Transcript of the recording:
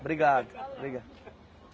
Obrigado. Obrigado.